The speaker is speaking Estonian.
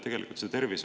Teie aeg!